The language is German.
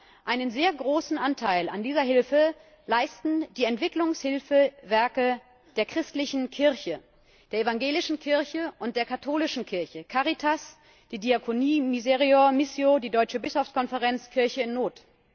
Aber einen sehr großen Anteil an dieser Hilfe leisten die Entwicklungshilfswerke der christlichen Kirche, der evangelischen Kirche und der katholischen Kirche Caritas, die Diakonie, Misereor, Missio, die Deutsche Bischofskonferenz, Kirche in Not.